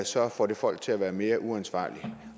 så får det folk til at være mere uansvarlige